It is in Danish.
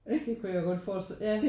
Ja det kunne jeg godt fore ja